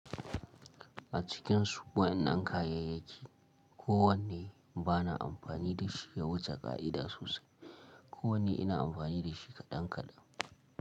A cikin su waƴan nan kayayyaki ko wanne bana amfani da shi ya wuce ka'ida sosai. Ko wanne ina amfani da shi kaɗan kaɗan.